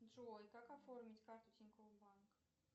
джой как оформить карту тинькофф банк